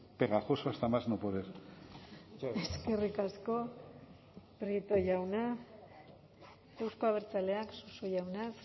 pegajoso hasta más no poder eskerrik asko prieto jauna euzko abertzaleak suso jauna